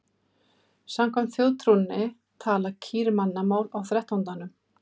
Samkvæmt þjóðtrúnni tala kýr mannamál á þrettándanum.